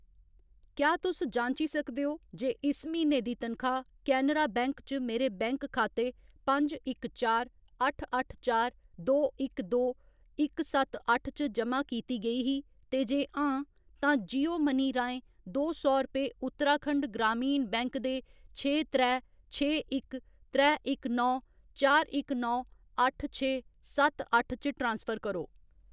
क्या तुस जांची सकदे ओ जे इस म्हीने दी तनखाह्‌‌ केनरा बैंक च मेरे बैंक खाते पंज इक चार, अट्ठ अट्ठ चार, दो इक दो, इक सत्त अट्ठ च जमा कीती गेई ही, ते जे हां, तां जियो मनी राहें दो सौ रपेऽ उत्तराखंड ग्रामीण बैंक दे छे त्रै, छे इक, त्रै इक नौ, चार इक नौ, अट्ठ छे, सत्त अट्ठ च ट्रांसफर करो।